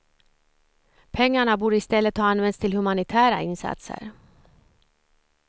Pengarna borde i stället ha använts till humanitära insatser.